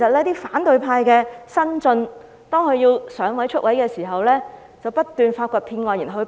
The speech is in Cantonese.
當反對派的新晉要"上位"、"出位"的時候，便要不斷發掘騙案來報警。